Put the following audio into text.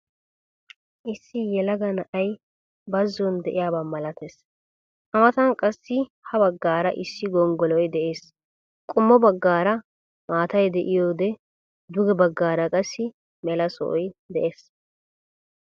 Issi yelaga na'ay baazon de'iyaaba malattees. a matan qassi ha baggaara issi gonggoloy de'ees. qommo baggaara maatay de'iyoode duge baggaara qassi mela sohoy de'ees.